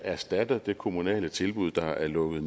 erstatter det kommunale tilbud der er lukket